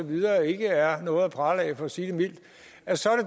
videre ikke er noget at prale af for at sige det mildt så